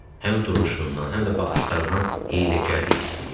Həm duruşundan, həm də baxışlarından hiyləgərlik hiss eləyirdim.